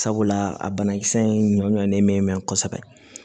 Sabula a banakisɛ in ɲɔnnen mɛ mɛn kosɛbɛ